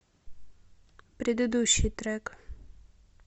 предыдущий трек